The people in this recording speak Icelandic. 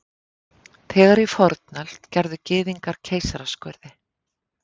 Þegar í fornöld gerðu Gyðingar keisaraskurði.